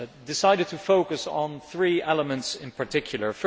I decided to focus on three elements in particular.